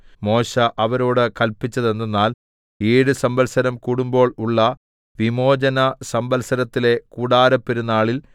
മോശെ അവരോട് കല്പിച്ചതെന്തെന്നാൽ ഏഴ് സംവത്സരം കൂടുമ്പോൾ ഉള്ള വിമോചനസംവത്സരത്തിലെ കൂടാരപ്പെരുനാളിൽ